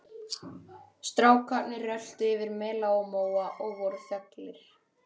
Strákarnir röltu yfir mela og móa og voru þöglir.